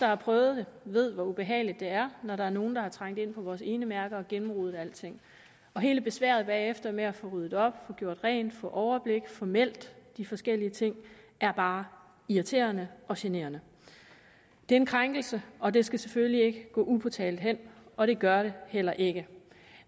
har prøvet det ved hvor ubehageligt det er når der er nogen der er trængt ind på vores enemærker og har gennemrodet alting hele besværet bagefter med at få ryddet op få gjort rent få overblik og få meldt de forskellige ting er bare irriterende og generende det er en krænkelse og det skal selvfølgelig ikke gå upåtalt hen og det gør det heller ikke